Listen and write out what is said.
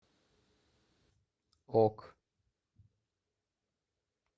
ок